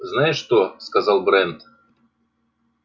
знаешь что сказал брент